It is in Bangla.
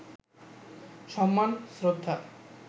সম্মান, শ্রদ্ধা